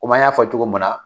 Kɔmi an y'a fɔ cogo munna